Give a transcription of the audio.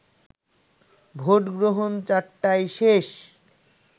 ভোটগ্রহণ ৪টায় শেষ